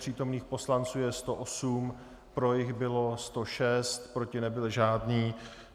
Přítomných poslanců je 108, pro jich bylo 106, proti nebyl žádný.